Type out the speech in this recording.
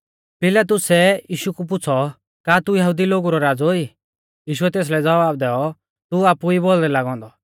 पिलातुसै यीशु कु पुछ़ौ का तू यहुदी लोगु रौ राज़ौ ई यीशुऐ तेसलै ज़वाब दैऔ तू आपु ई बोलदै लागौ औन्दौ